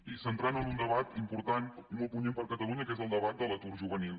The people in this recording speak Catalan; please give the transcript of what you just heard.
i centrant ho en un debat important i molt punyent per a catalunya que és el debat de l’atur juvenil